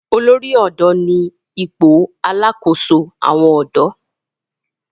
olórí odò ní ipò alàkóso àwọn odò.